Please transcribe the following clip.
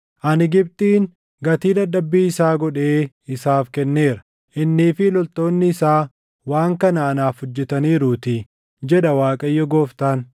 Ani Gibxiin gatii dadhabbii isaa godhee isaaf kenneera; innii fi loltoonni isaa waan kana anaaf hojjetaniiruutii, jedha Waaqayyo Gooftaan.